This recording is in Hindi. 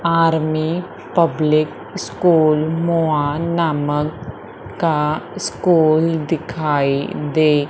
आर्मी पब्लिक स्कूल मोआ नामक का स्कूल दिखाई दे --